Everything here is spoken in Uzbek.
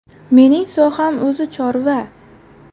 Menining soham o‘zi – chorva.